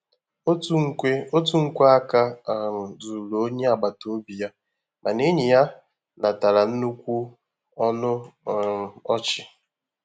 Otu nkwe Otu nkwe áká um zuru onye agbata obi ya, mana enyi ya natara nnukwu ọnụ um ọchị.